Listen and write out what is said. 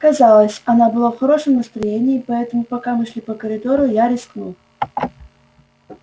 казалось она была в хорошем настроении поэтому пока мы шли по коридору я рискнул